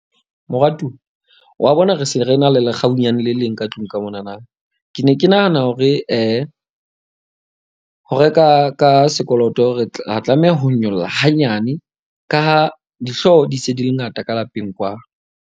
Moratuwa wa bona, re se re na le lekgabunyane le leng ka tlung ka monana. Ke ne ke nahana hore ho reka ka sekoloto re tla tlameha ho nyolla hanyane, ka ha dihlooho di se di le ngata ka lapeng kwano.